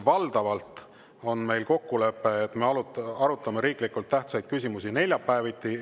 Valdavalt on meil kokkulepe, et me arutame riiklikult tähtsaid küsimusi neljapäeviti.